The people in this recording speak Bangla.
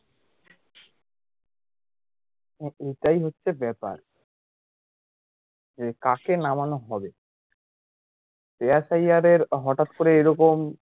হ্যাঁ এটাই হচ্ছে ব্যাপার যে কাকে নামানো হবে শ্রেয়াস আইয়ার এর হটাৎ করে এরকম